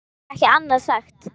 Ég get bara ekki annað sagt.